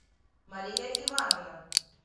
мария ивановна